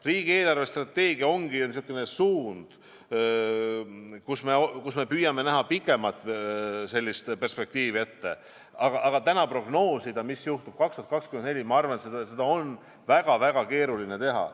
Riigi eelarvestrateegiat koostades me püüame näha pikemat perspektiivi, aga täna prognoosida, mis juhtub aastaks 2024 – ma arvan, et seda on väga-väga keeruline teha.